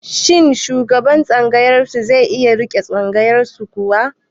Shin shugaban tsangayar ku zai iya riƙe tsangayar ku kuwa?